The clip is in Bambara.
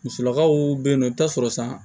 Musolakaw bɛ yen nɔ i bɛ taa sɔrɔ san